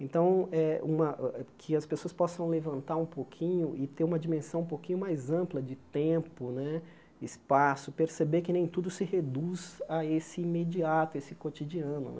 Então, eh uma que as pessoas possam levantar um pouquinho e ter uma dimensão um pouquinho mais ampla de tempo né, espaço, perceber que nem tudo se reduz a esse imediato, esse cotidiano.